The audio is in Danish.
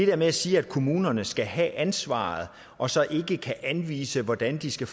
der med at sige at kommunerne skal have ansvaret og så ikke anvise hvordan de skal